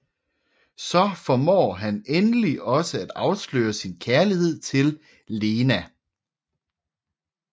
Så formår han endelig også at afsløre sin kærlighed til Lena